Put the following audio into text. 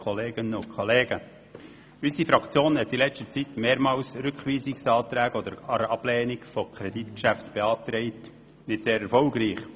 Unsere Fraktion hat in letzter Zeit mehrmals Rückweisungsanträge gestellt bzw. die Ablehnung von Kreditgeschäften beantragt, wenn auch nicht sehr erfolgreich.